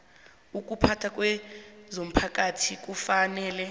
ukuphatha kwezomphakathi kufanele